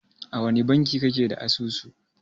A wani banki kake da asusu?